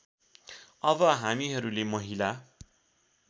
अब हामीहरूले महिला